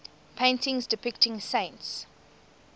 paintings depicting saints